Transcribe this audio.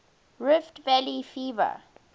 rift valley fever